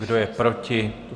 Kdo je proti?